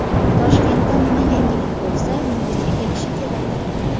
Toshkentda nima yangilik bo‘lsa, Nukusga kelishi kerak.